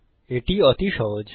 এটি অতি সহজ